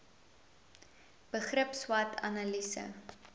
begrip swot analise